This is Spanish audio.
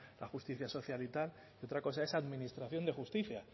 la justicia social y tal y otra cosa es administración de justicia